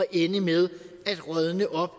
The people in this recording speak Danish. ende med at rådne op